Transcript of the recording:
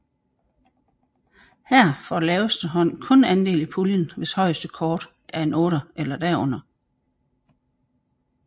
Her får laveste hånd kun andel i puljen hvis højeste kort er en otter eller derunder